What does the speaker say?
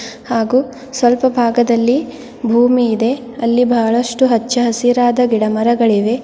ಹಾಗು ಸ್ವಲ್ಪ ಭಾಗದಲ್ಲಿ ಭೂಮಿ ಇದೆ ಅಲ್ಲಿ ಬಹಳಷ್ಟು ಹಚ್ಚ ಹಸಿರಾದ ಗಿಡ ಮರಗಳಿವೆ.